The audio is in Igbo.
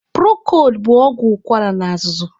Prokod bụ ọgwụ ụkwara na azụzụ.